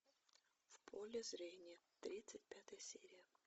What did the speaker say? в поле зрения тридцать пятая серия